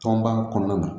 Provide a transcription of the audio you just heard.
Tɔnba kɔnɔna na